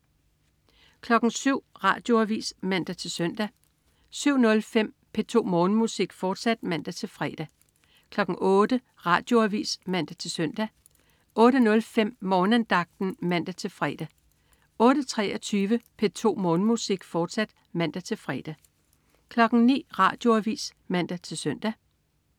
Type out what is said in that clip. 07.00 Radioavis (man-søn) 07.05 P2 Morgenmusik, fortsat (man-fre) 08.00 Radioavis (man-søn) 08.05 Morgenandagten (man-fre) 08.23 P2 Morgenmusik, fortsat (man-fre) 09.00 Radioavis (man-søn)